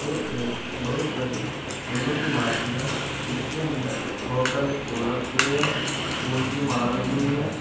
एक बहुत बड़ी फूलों की मार्केट है इसके अंदर बहुत सारे फूल रखे हुए हैं फूल की माला लगी हुई है।